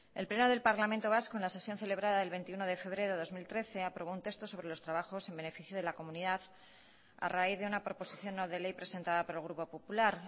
el pleno del parlamento vasco en la sesión celebrada el veintiuno de febrero del dos mil trece aprobó un texto sobre los trabajos en beneficio de la comunidad a raíz de una proposición no de ley presentada por el grupo popular